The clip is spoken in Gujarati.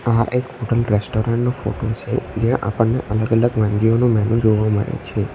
આહ એક હોટલ રેસ્ટોરન્ટ નો ફોટો છે જ્યાં આપણને અલગ અલગ વાનગીઓનું મેનુ જોવા મળે છે.